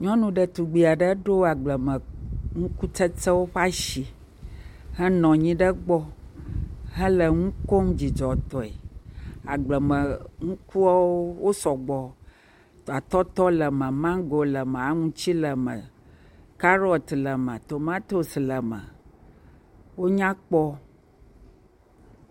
Nyɔnu ɖetugbe aɖe, eɖo agblemenukutsetsewo ƒe asi henɔ anyi ɖe gbɔ hele nu kom dzidzɔtɔe, agblemenukuwo wosɔ gbɔ, atɔtɔ le me, mango le me, aŋuti le me, karɔt le me, tomatos le me, wonya kpɔ.